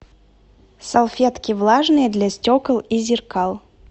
салфетки влажные для стекол и зеркал